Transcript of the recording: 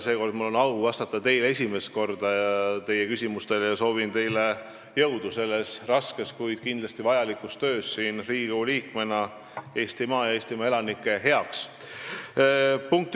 Seekord mul on au vastata teie küsimustele esimest korda ja ühtlasi soovin teile jõudu selles raskes, kuid kindlasti vajalikus töös siin Riigikogu liikmena Eestimaa elanike heaks.